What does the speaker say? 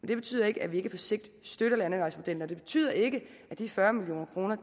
det betyder ikke at vi ikke på sigt støtter landevejsmodellen og det betyder ikke at de fyrre million kroner